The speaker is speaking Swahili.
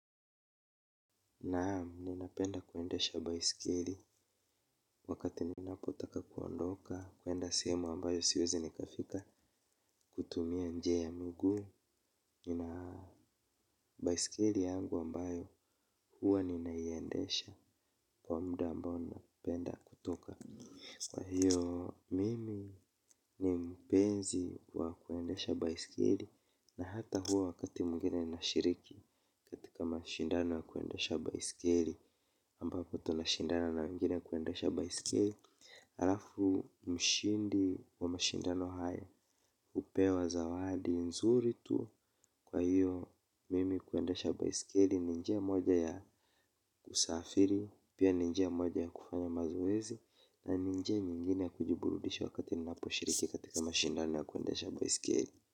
Naam. Ninapenda kuendesha baiskeli wakati ninapotaka kuondoka. Kuenda sehemu ambayo siwezi nikafika kutumia njia ya miguu. Nina baiskeli yangu ambayo huwa ninayondesha kwa muda ambayo napenda kutoka. Kwa hiyo mimi ni mpenzi wa kuendesha bisikiri. Na hata huwa wakati mwingine nashiriki katika mashindano wa kuendesha baiskeli, ambapo tunashindana na wengine kuendasha baiskeli alafu mshindi wa mashindano hayo hupewa zawadi nzuri tu kwa hiyo mimi kuendasha baiskeli ni njia moja ya kusafiri pia ni njia moja ya kufanya mazoezi na ni njia nyingine ya kujiburudisha wakati ninaposhiriki katika mashindano ya kuendasha baiskeli.